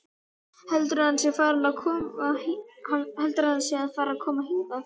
Heldurðu að hann sé að fara að koma hingað?